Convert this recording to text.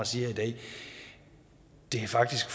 sige i dag det er faktisk